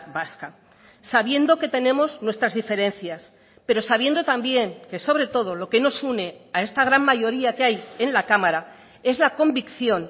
vasca sabiendo que tenemos nuestras diferencias pero sabiendo también que sobre todo lo que nos une a esta gran mayoría que hay en la cámara es la convicción